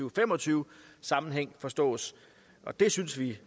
og fem og tyve sammenhæng forstås og det synes vi